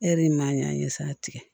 E de maa ɲ'a ye sa tigɛ